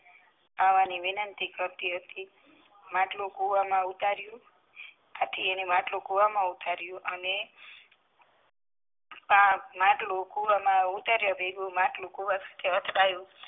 વિનંતી કરતી હતી માટલું કુવા માં ઉતારિયું ત્યાં થી તેને માટલું કુવા માં ઉતારિયું અને માટલું કુવા માં ઉતારી દીધું માટલું કુવા સાથે અથડાયું